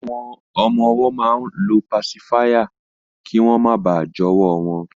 Àwọn ọmọ-ọwọ́ máa ń lo pasifáyà kí wọ́n máa bà jọwọ́ wọn